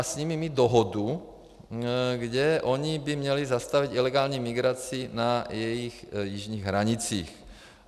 A s nimi mít dohodu, kdy oni by měli zastavit ilegální migraci na jejich jižních hranicích.